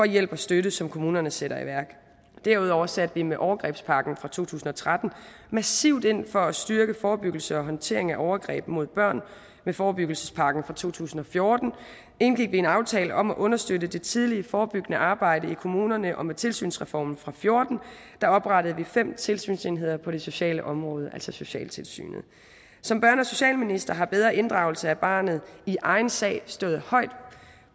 hjælp og støtte som kommunerne sætter i værk derudover satte vi med overgrebspakken fra to tusind og tretten massivt ind for at styrke forebyggelse og håndtering af overgreb mod børn med forebyggelsespakken fra to tusind og fjorten indgik vi en aftale om at understøtte det tidlige forebyggende arbejde i kommunerne og med tilsynsreformen fra fjorten oprettede vi fem tilsynsenheder på det sociale område altså socialtilsynet som børne og socialminister har bedre inddragelse af barnet i egen sag stået højt